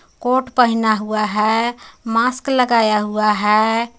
Coat पहना हुआ है मास्क लगाया हुआ है।